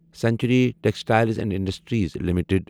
century textiles and industries limited